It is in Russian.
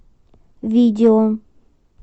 видео